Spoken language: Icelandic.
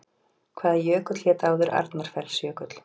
Hvaða jökull hét áður Arnarfellsjökull?